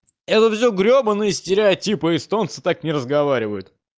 все гребаные стереотипа эстонцы так не разговаривают